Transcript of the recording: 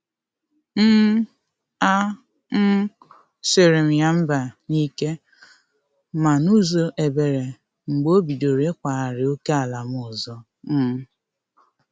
um A um sirm ya mba n’ike ma n’ụzọ ebere mgbe obidoro ikwagari ókèala m ọzọ. um